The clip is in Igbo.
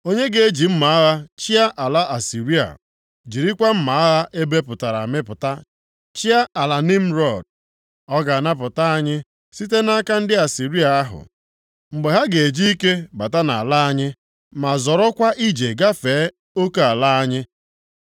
Onye ga-eji mma agha chịa ala Asịrịa, jirikwa mma agha a mịpụtara amịpụta chịa ala Nimrọd. Ọ ga-anapụta anyị site nʼaka ndị Asịrịa ahụ, mgbe ha ga-eji ike bata nʼala anyị, ma zọrọkwa ije gafee oke ala anyị.